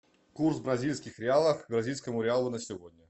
курс бразильских реалов к бразильскому реалу на сегодня